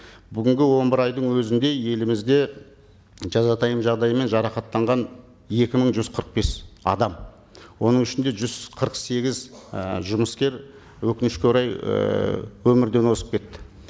бүгінгі он бір айдың өзінде елімізде жазатайым жағдаймен жарақаттанған екі мың жүз қырық бес адам оның ішінде жүз қырық сегіз і жұмыскер өкінішке орай ііі өмірден озып кетті